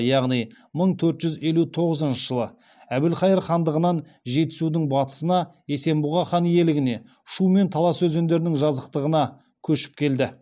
яғни мың төрт жүз елу тоғызыншы жылы әбілхайыр хандығынан жетісудың батысына есенбұға хан иелігіне шу мен талас өзендерінің жазықтығына көшіп келді